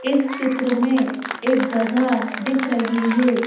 इस चित्र में एक जगह दिख रही है।